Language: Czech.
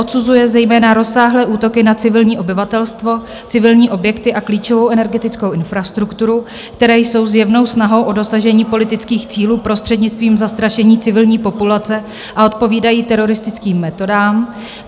Odsuzuje zejména rozsáhlé útoky na civilní obyvatelstvo, civilní objekty a klíčovou energetickou infrastrukturu, které jsou zjevnou snahou o dosažení politických cílů prostřednictvím zastrašení civilní populace, a odpovídají teroristickým metodám.